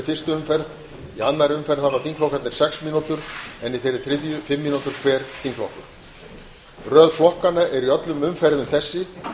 fyrstu umferð í annarri umferð hafa þingflokkarnir sex mínútur en í þeirri þriðju fimm mínútur hver þingflokkur röð flokkanna er í öllum umferðum þessi